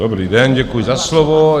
Dobrý den, děkuji za slovo.